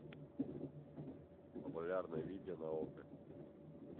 популярное видео на окко